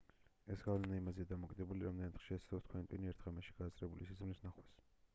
ეს გავლენა იმაზეა დამოკიდებული რამდენად ხშირად ცდილობს თქვენი ტვინი ერთ ღამეში გააზრებული სიზმრის ნახვას